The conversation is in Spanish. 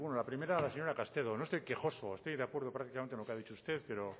la primera a la señora castelo no estoy quejoso estoy de acuerdo prácticamente en lo que ha dicho usted pero